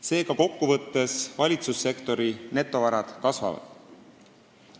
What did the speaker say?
Seega, kokkuvõttes valitsussektori netovarad kasvavad.